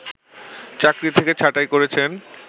চাকরি থেকে ছাঁটাই করেছেন